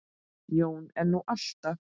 Jón er nú alltaf